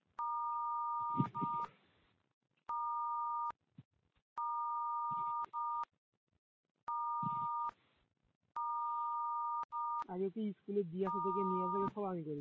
আগে তো স্কুলে দিয়ে আসা থেকে নিয়ে আসা সব আমি করেছি